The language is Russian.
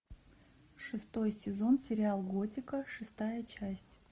шестой сезон сериал готика шестая часть